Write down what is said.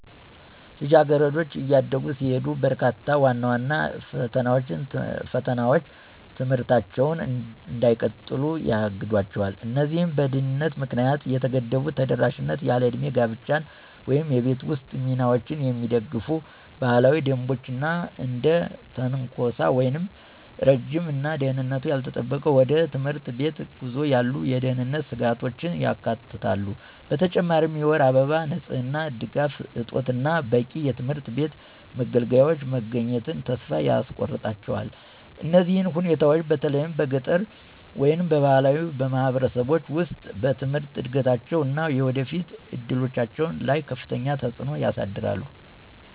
ልጃገረዶች እያደጉ ሲሄዱ፣ በርካታ ዋና ዋና ፈተናዎች ትምህርታቸውን እንዳይቀጥሉ ያግዷቸው። እነዚህም በድህነት ምክንያት የተገደበ ተደራሽነት፣ ያለዕድሜ ጋብቻን ወይም የቤት ውስጥ ሚናዎችን የሚደግፉ ባህላዊ ደንቦች፣ እና እንደ ትንኮሳ ወይም ረጅም እና ደህንነቱ ያልተጠበቀ ወደ ትምህርት ቤት ጉዞ ያሉ የደህንነት ስጋቶችን ያካትታሉ። በተጨማሪም የወር አበባ ንጽህና ድጋፍ እጦት እና በቂ የትምህርት ቤት መገልገያዎች መገኘትን ተስፋ ያስቆርጣቸዋል። እነዚህ ሁኔታዎች፣ በተለይም በገጠር ወይም በባህላዊ ማህበረሰቦች ውስጥ፣ በትምህርት እድገታቸው እና የወደፊት እድሎቻቸው ላይ ከፍተኛ ተጽዕኖ ያሳድራል።